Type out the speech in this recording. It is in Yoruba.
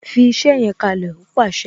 "Fi iṣẹ yẹn kalẹ "ó pàṣẹ